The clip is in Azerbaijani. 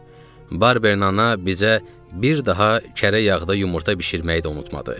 Barber ana bizə bir daha kərə yağda yumurta bişirməyi də unutmadı.